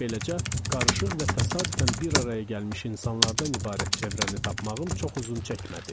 Beləcə, qarışıq və təsadüfən bir araya gəlmiş insanlardan ibarət çevrəni tapmağım çox uzun çəkmədi.